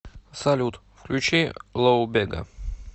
салют включи лоу бега